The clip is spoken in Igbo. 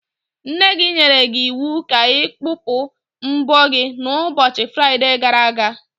Nne gị nyere gị iwu ka ị kpụpụ mbọ gị n'ụbọchị Fraide gara aga.